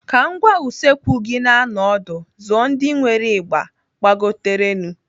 Ka ngwá usekwu gị na-anọ ọdụ, zụọ ndị nwere ịgba gbagoterenụ.